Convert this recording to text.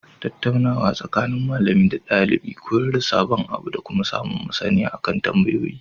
Tattaunawa tsakanin malami da ɗalibi koyar da sabon abu dakuma samun maSaniya akan tambayoyi